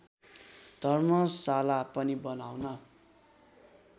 धर्मशाला पनि बनाउन